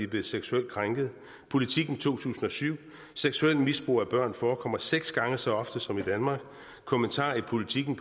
blevet seksuelt krænket politiken 2007 og seksuelt misbrug af børn forekommer seks gange så ofte som i danmark kommentarer i politiken